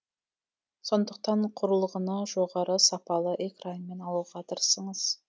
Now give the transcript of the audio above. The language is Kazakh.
сондықтан құрылғыны жоғары сапалы экранмен алуға тырысыңыз